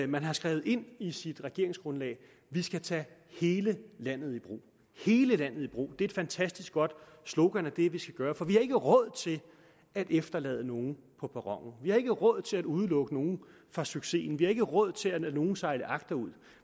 man har skrevet ind i sit regeringsgrundlag vi skal tage hele landet i brug hele landet i brug det er et fantastisk godt slogan det er det vi skal gøre for vi har ikke råd til at efterlade nogen på perronen vi har ikke råd til at udelukke nogen fra succesen vi har ikke råd til at lade nogen sejle agterud